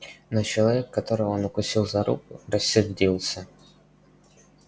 но человек которого он укусил за руку рассердился